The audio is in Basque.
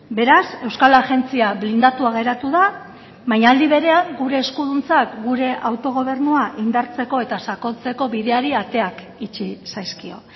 beraz euskal agentzia blindatua geratu da baina aldi berean gure eskuduntzak gure autogobernua indartzeko eta sakontzeko bideari ateak itxi zaizkio